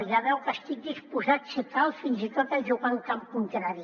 ja veu que estic disposat si cal fins i tot a jugar en camp contrari